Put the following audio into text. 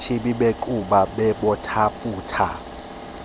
chibi bequbha bobathandathu